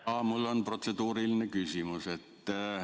Jaa, mul on protseduuriline küsimus.